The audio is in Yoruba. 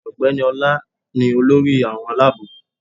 Ọ̀gbẹ́ni Ọla ni olórí àwọn alábò